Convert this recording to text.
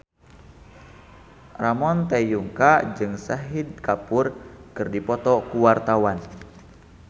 Ramon T. Yungka jeung Shahid Kapoor keur dipoto ku wartawan